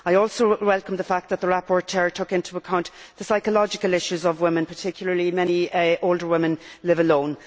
I also welcome the fact that the rapporteur took into account the psychological issues of women, particularly many older women living alone.